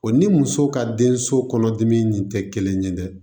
O ni muso ka denso kɔnɔdimi in tɛ kelen ye dɛ